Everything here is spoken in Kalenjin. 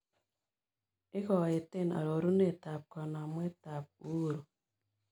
Igoeten arorunetap kanamwetap uhuru